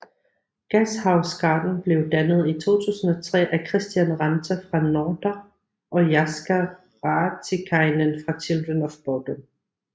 Gashouse Garden blev dannet i 2003 af Kristian Ranta fra Norther og Jaska Raatikainen fra Children of Bodom